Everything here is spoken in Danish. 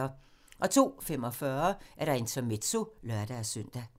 02:45: Intermezzo (lør-søn)